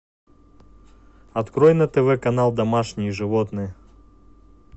открой на тв канал домашние животные